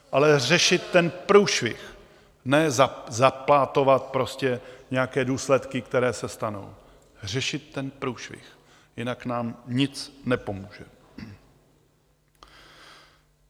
Ale řešit ten průšvih, ne záplatovat prostě nějaké důsledky, které se stanou, řešit ten průšvih, jinak nám nic nepomůže.